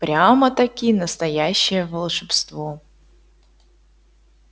прямо-таки настоящее волшебство